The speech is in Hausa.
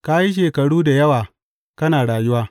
Ka yi shekaru da yawa kana rayuwa.